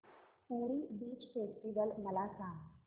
पुरी beach festival मला सांग